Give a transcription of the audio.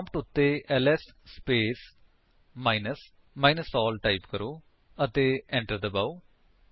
prompt ਉੱਤੇ LS space minus minus ALL type ਕਰੋ ਅਤੇ enter ਦਬਾਓ